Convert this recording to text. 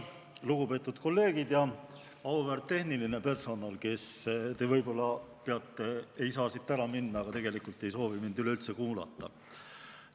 Lugupeetud kolleegid ja auväärt tehniline personal, kes te võib-olla peate – ei saa siit ära minna –, aga tegelikult ei soovi mind üleüldse kuulata.